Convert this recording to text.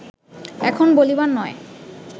এখন বলিবার নয়